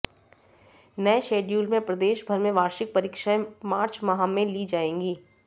नये शेड्यूल में प्रदेश भर में वार्षिक परीक्षाएं मार्च माह में ली जाएंगी